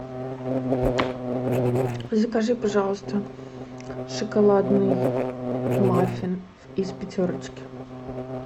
закажи пожалуйста шоколадный маффин из пятерочки